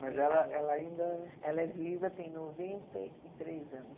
Mas ela ela ainda... Ela é viva, tem noventa e três anos.